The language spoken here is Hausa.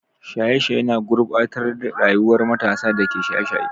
Shaye-shaye na gurɓata rayuwar matasan da ke shaye-shaye.